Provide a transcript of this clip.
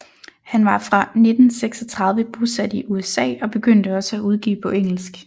Han var fra 1936 bosat i USA og begyndte også at udgive på engelsk